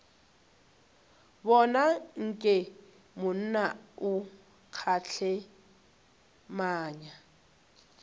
bona nke monna o kgehlemanya